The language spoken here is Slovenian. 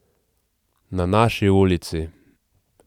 Na naši ulici!